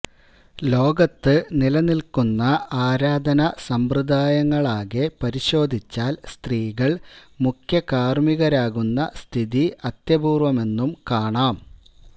ലോകത്ത് നിലനില്ക്കുന്ന ആരാധനാ സമ്പ്രദായങ്ങളാകെ പരിശോധിച്ചാല് സ്ത്രീകള് മുഖ്യകാര്മ്മികരാകുന്ന സ്ഥിതി അത്യപൂര്വ്വമെന്നും കാണാം